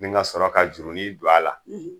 Ni ŋasɔrɔ ka jurunin don a la